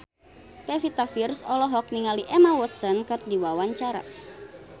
Pevita Pearce olohok ningali Emma Watson keur diwawancara